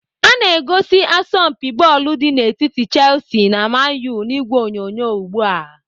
Ana egosi asọmpi bọọlụ dị n'etiti Chelsea na Man U n'ìgwè onyonyo ugbu a.